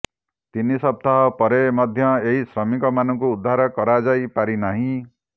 ତିନି ସପ୍ତାହ ପରେ ମଧ୍ୟ ଏହି ଶ୍ରମିକମାନଙ୍କୁ ଉଦ୍ଧାର କରାଯାଇ ପାରି ନାହିଁ